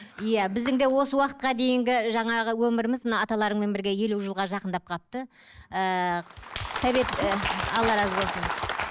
иә біздің де осы уақытта дейінгі жаңағы өміріміз мына аталарыңмен бірге елу жылға жақындап қалыпты ііі совет ііі алла разы болсын